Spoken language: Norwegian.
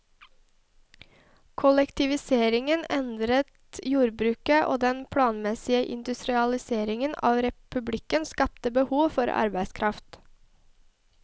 Kollektiviseringen endret jordbruket, og den planmessige industrialiseringen av republikken skapte behov for arbeidskraft.